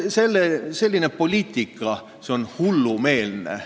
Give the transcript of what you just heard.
Selline poliitika on hullumeelne.